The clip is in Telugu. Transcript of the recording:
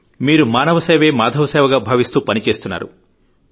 మీరు మానవసేవే మాధవసేవగా భావిస్తూ పనిచేస్తున్నారు